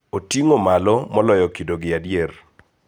Oting�o malo moloyo kidogi adier.